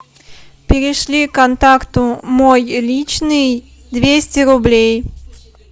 перешли контакту мой личный двести рублей